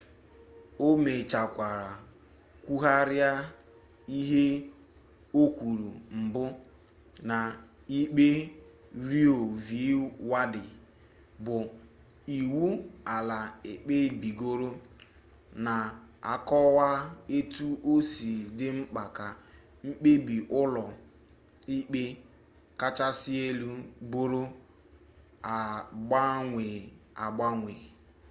o mechekwara kwugharịa ihe o kwuru mbụ na ikpe roe v wade bụ iwu ala ekpebigoro na-akọwa etu o si dị mkpa ka mkpebi ụlọ ikpe kachasị elu bụrụ agbanwe agbanwe